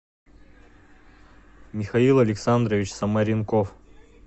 михаил александрович самаренков